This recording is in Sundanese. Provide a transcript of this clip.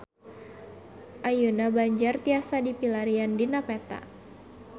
Ayeuna Banjar tiasa dipilarian dina peta